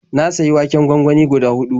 Na sayi waken gwangwani guda huɗu.